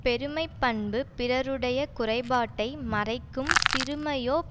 பெருமை பண்பு பிறருடைய குறைப்பாட்டை மறைக்கும் சிறுமையோ